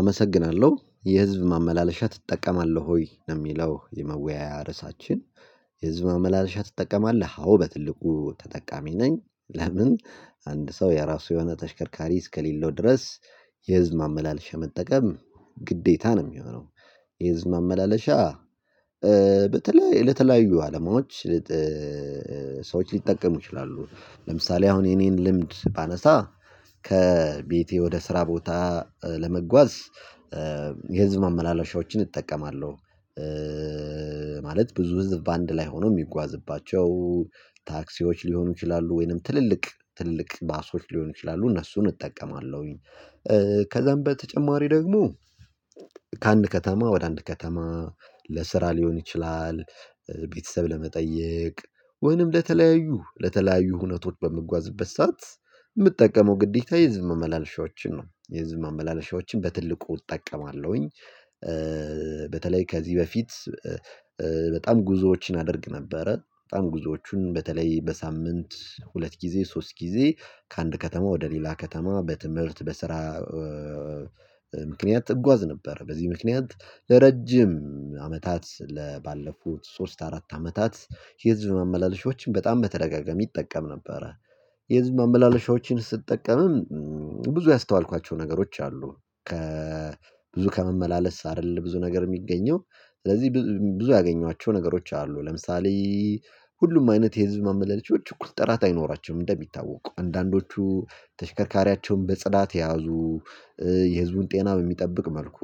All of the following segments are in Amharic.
አመሰግናለሁ የህዝብ ማመላለሻ ትጠቀማለህ ወይ ነው እሚለው የመወያያ ርዕሳችን? የህዝብ ማመላልሻ ትጠቀማለህ አዎ በትልቁ ተጠቃሚ ነኝ። ለምን? አንድ ሰው የራሱ የሆነ ተሽከርካሪ እስከሌለው ድረስ የህዝብ ማመላለሻ መጠቀም ግዴታ ነው የሚሆነው። የህዝብ መመላለሻ በተለይ ለተለያዩ አላማዎች ሰዎች ሊጠቀሙ ይችላሉ። ለምሳሌ አሁን የኔን ልምድ ባነሳ ከቤቴ ወደ ስራ ቦታ ለመጓዝ የህዝብ ማመላለሻዎችን እጠቀማለሁ። ማለት ብዙ ህዝብ በአንድ ላይ ሆኖ የሚጓዝባቸው ታክሲዎች ሊሆኑ ይችላሉ ወይንም ትልልቅ ትልልቅ ባሶች ሊሆኑ ይችላሉ እነሱን እጠቀማለሁኝ። ከዛም በተጨማሪ ደግሞ። ከአንድ ከተማ ወደ አንድ ከተማ ለስራ ሊሆን ይችላል ቤተሰብ ለመጠየቅ ወይንም ለተለያዩ ለተለያዩ ሁነቶች በምጓዝበት ሰዓት እምጠቀመው ግዴታ የህዝብ ማመላለሻዎችን ነው የህዝብ ማመላለሻዎችን በትልቁ እጠቀማለሁኝ። በተለይ ከዚህ በፊት በጣም ጉዞዎችን አደርግ ነበረ በጣም ጉዞዎቹን በተለይ በሳምንት ሁለት ጊዜ ሶስት ጊዜ ከአንድ ከተማ ወደ ሌላ ከተማ በትምህርት በስራ። ምክንያት እጓዝ ነበር። በዚህ ምክንያት ለረጅም አመታት ለባለፉት ሶስት አራት አመታት የህዝብ ማመላለሻዎችን በጣም በተደጋጋሚ እጠቀም ነበረ። የህዝብ ማመላለሻዎችን ስጠቀምም ብዙ ያስተዋልኳቸው ነገሮች አሉ። ብዙ ከመመላለስ አይደለም ብዙ ነገር እሚገኘው ስለዚህ ብዙ ያገኘዋቸው ነገሮች አሉ ለምሳሌ። ሁሉም አይነት የህዝብ ማመለለሻዎች እኩል ጥራት አይኖራቸውም። እንደሚታወቁ አንዳንዶቹ ተሽከርካሪያቸውን በጽዳት የያዙ የህዝቡን ጤና በሚጠብቅ መልኩ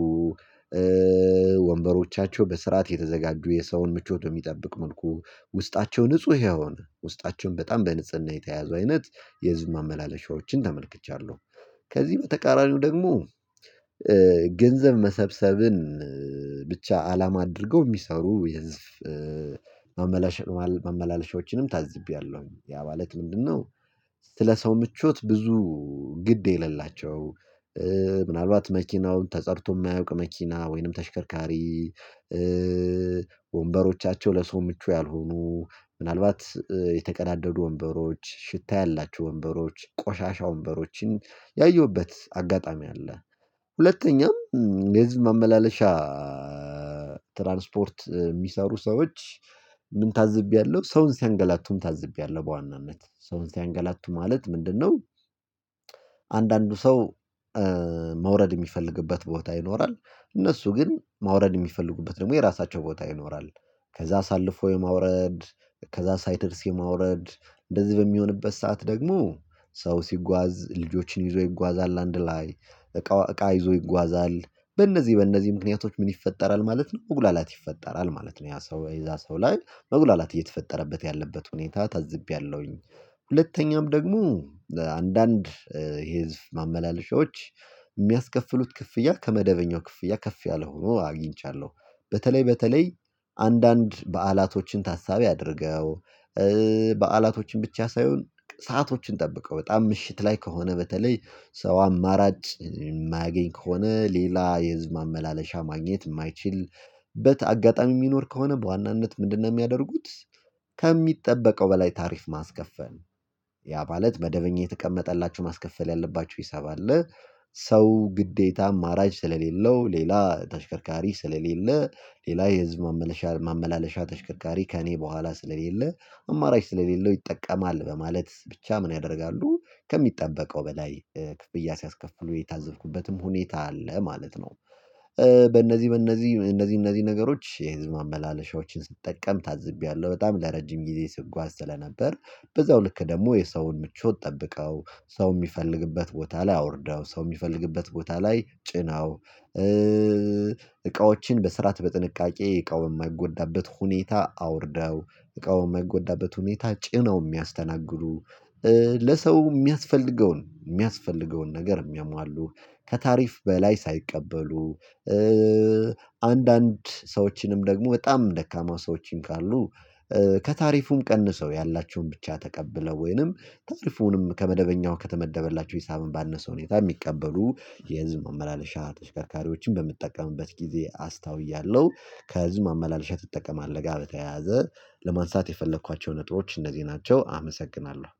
ወንበሮቻቸው በስርዓት የተዘጋጁ የሰውን ምቾት የሚጠብቅ መልኩ ውስጣቸው ንጹህ የሆነ ውስጣቸው በጣም በንጽህና የተያዙ አይነት የህዝብ ማመላለሻዎችን ተመልክቻለሁ። ከዚህ በተቃራኒው ደግሞ ገንዘብ መሰብሰብን ብቻ አላማ አድርገው እሚሰሩ የህዝብ ማመላለሻዎችንም ታዝቤያለሁ። ያ ማለት ምንድነው? ስለ ሰው ምቾት ብዙ ግድ የሌላቸው። ምናልባት መኪናውን ተጸድቶ እማያውቅ መኪና ወይንም ተሽከርካሪ ወንበሮቻቸው ለሰው ምቹ ያልሆኑ ምናልባት የተቀዳደዱ ወንበሮች ሽታ ያላቸው ወንበሮች ቆሻሻ ወንበሮችን ያየሁበት አጋጣሚ አለ። ሁለተኛም የህዝብ ማመላለሻ ትራንስፖርት እሚሰሩ ሰዎች ምን ታዝቤያለሁ ሰውን ሲያንገላቱም ታዝቤያለሁ በዋናነት ሰውን ሲያንገላቱ ማለት ምንድነው? አንዳንዱ ሰው መውረድ እሚፈልግበት ቦታ ይኖራል። እነሱ ግን መውረድ እሚፈልጉበት ደግሞ የራሳቸው ቦታ ይኖራል። ከዛ አሳልፎ የማውረድ ከዛ ሳይደርስ የማውረድ እንደዚህ በሚሆንበት ሰዓት ደግሞ ሰው ሲጓዝ ልጆችን ይዞ ይጓዛል አንድ ላይ እቃ እቃ ይዞ ይጓዛል በእነዚህ በእነዚህ ምክንያቶች ምን ይፈጠራል ማለት ነው መጉላላት ይፈጠራል ማለት ነው ያ ሰው የዛ ሰው ላይ መጉላላት እየተፈጠረበት ያለበት ሁኔታ ታዝቤያለሁኝ። ሁለተኛም ደግሞ አንዳንድ የህዝብ ማመላለሻዎች የሚያስከፍሉት ክፍያ ከመደበኛው ክፍያ ከፍ ያለ ሆኖ አግኝቻለሁ። በተለይ በተለይ አንዳንድ በዓላቶችን ታሳቢ አድርገው በዓላቶችን ብቻ ሳይሆን ሰአቶችን ጠብቀው በጣም ምሽት ላይ ከሆነ በተለይ ሰው አማራጭ የማያገኝ ከሆነ ሌላ የህዝብ ማመላለሻ ማግኘት የማይችልበት አጋጣሚ እሚኖር ከሆነ በዋናነት ምንድነው እሚያደርጉት? ከሚጠበቀው በላይ ታሪፍ ማስከፈል ያ ማለት መደበኛ የተቀመጠላችው ማስከፈል ያለባችው ሂሳብ አለ። ሰው ግዴታ አማራጭ ስለሌለው ሌላ ተሽከርካሪ ስለሌለ ሌላ የህዝብ ማመላለሻ ተሽከርካሪ ከእኔ በኋላ ስለሌለ አማራጭ ስለሌለው ይጠቀማል በማለት ብቻ ምን ያደርጋሉ? ከሚጠበቀው በላይ ክፍያ ሲያስከፍሉ የታዘብኩበትም ሁኔታ አለ ማለት ነው። በእነዚህ በእነዚህ እነዚህ እነዚህ ነገሮች የህዝብ ማመላለሻዎችን ስጠቀም ታዝቤያለሁ በጣም ለረጅም ጊዜ ስጓዝ ስለነበር በዛው ልክ ደግሞ የሰውን ምቾት ጠብቀው ሰው እሚፈልግበት ቦታ ላይ አውርደው ሰው እሚፈልግበት ቦታ ላይ ጭነው። እቃዎችን በስርዓት በጥንቃቄ እቃውን በማይጎዳበት ሁኔታ አውርደው እቃውን በማይጎዳበት ሁኔታ ጭነው እሚያስተናግዱ። ለሰው የሚያስፈልገውን የሚያስፈልገውን ነገር የሚያሟሉ ከታሪፍ በላይ ሳይቀበሉ አንዳንድ ሰዎችንም ደግሞ በጣም ደካማ ሰዎችም ካሉ ከታሪፉም ቀንሰው ያላቸውን ብቻ ተቀብለው ወይንም ታሪፉንም ከመደበኛው ከተመደበላቸው ሂሳብ ባነሰ ሁኔታ የሚቀበሉ የህዝብ መመላለሻ ተሽከርካሪዎችን በምጠቀምበት ጊዜ አስተውያለሁ። ከህዝብ ማመላለሻ ትጠቀማለህ ጋር በተያያዘ ለማንሳት የፈለኳቸውን እጥሮች እነዚህ ናቸው። አመሰግናለሁ